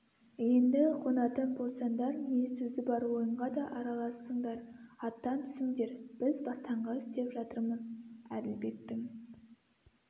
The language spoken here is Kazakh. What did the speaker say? енді қонатын болсаңдар не сөзі бар ойынға да араласыңдар аттан түсіңдер біз бастаңғы істеп жатырмыз әділбектің